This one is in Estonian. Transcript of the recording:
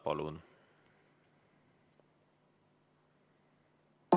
Palun!